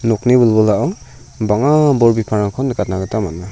nokni wilwilao bang·a bol bipangrangko nikatna gita man·a.